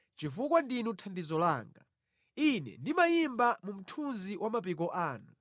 Chifukwa ndinu thandizo langa, ine ndimayimba mu mthunzi wa mapiko anu.